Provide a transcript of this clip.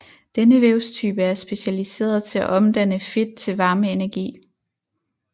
Denne vævstype er specialiseret til at omdanne fedt til varmeenergi